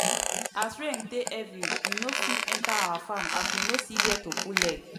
as rain take heavy we no fit enter our farm as we no see where to put leg.